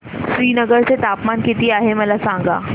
श्रीनगर चे तापमान किती आहे मला सांगा